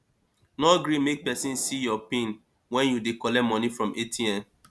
no gree make pesin see your pin wen you dey collect money from atm